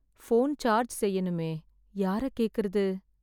Phone charge செய்யணுமே.... யாரைக் கேக்கறது?